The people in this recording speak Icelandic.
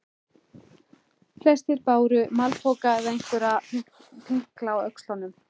Flestir báru malpoka eða einhverja pinkla á öxlunum.